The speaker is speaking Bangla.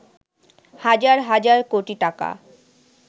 হাজার হাজার কোটি টাকা